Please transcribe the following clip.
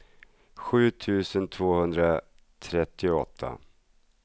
sju tusen tvåhundratrettioåtta